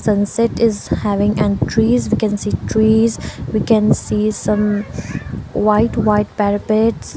sunset is having and trees we can see trees we can see some white white parapets.